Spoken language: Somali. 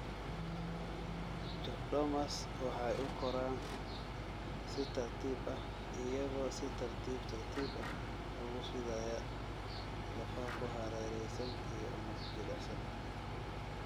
Chordomas waxay u koraan si tartiib ah, iyagoo si tartiib tartiib ah ugu fidaya lafaha ku hareeraysan iyo unug jilicsan.